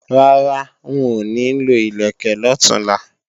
Rárá, n ò ní lo ìlẹ̀kẹ̀ lọ̀túnla